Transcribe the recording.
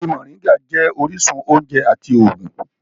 Igi moringa jẹ́ orísun oúnjẹ àti ògùn